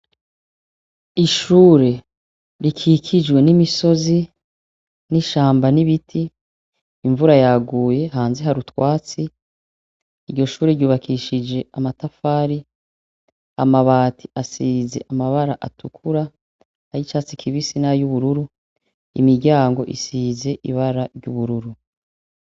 Ishure rikikijwe n’imisozi, n’ishamba, n’ibiti. Imvura yaguye hanze hari utwatsi. Iryo shure ryubakishije amatafari, amabati asize amabara atukura, ayicatsi kibisi nayubururu, imiryango isize ibara ry’ubururu.